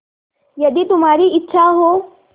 यदि तुम्हारी इच्छा हो